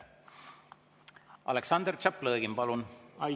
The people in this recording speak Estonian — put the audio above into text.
Aleksandr Tšaplõgin, palun!